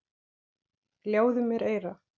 Ljáðu mér eyra.